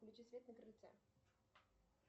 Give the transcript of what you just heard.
включи свет на крыльце